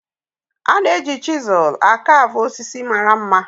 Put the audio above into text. A na-eji chiselu a caavu osisi mara mma.